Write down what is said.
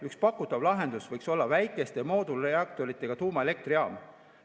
Üks pakutav lahendus võiks olla väikeste moodulreaktoritega tuumaelektrijaam.